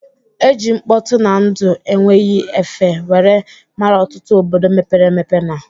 E ji mkpọtụ na ndụ enweghị efe were mara ọtụtụ obodo mepere emepe na